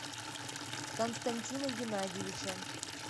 константина геннадьевича